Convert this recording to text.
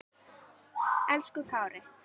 Elsku Kári.